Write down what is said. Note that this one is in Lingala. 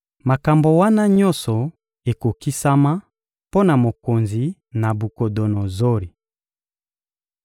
Makambo wana nyonso ekokokisama mpo na mokonzi Nabukodonozori.